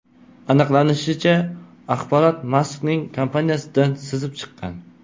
Aniqlanishicha, axborot Maskning kompaniyasidan sizib chiqqan.